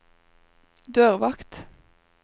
dørvakt